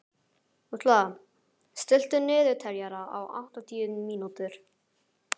Úlla, stilltu niðurteljara á áttatíu mínútur.